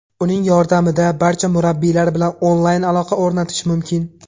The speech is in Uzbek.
Uning yordamida barcha murabbiylar bilan onlayn aloqa o‘rnatish mumkin.